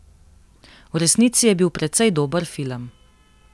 V resnici je bil precej dober film.